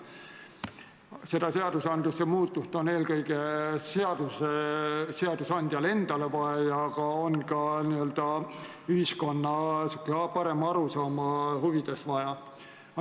Seda seadusemuudatust on eelkõige seadusandjale endale vaja ja seda on ka n-ö ühiskonna parema arusaama huvides vaja.